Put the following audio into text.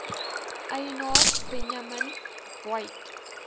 eienaars benjamin weigt